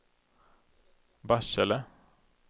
Barsele